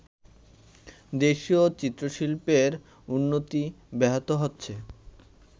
দেশীয় চিত্রশিল্পের উন্নতি ব্যাহত হচ্ছে